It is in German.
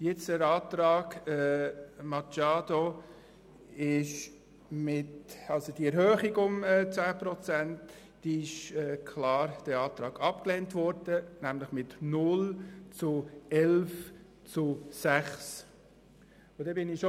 Der Antrag Machado auf eine Erhöhung um 10 Prozent wurde klar abgelehnt mit 0 Ja- gegen 11 Nein-Stimmen bei 6 Enthaltungen.